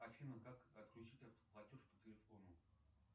афина как отключить автоплатеж по телефону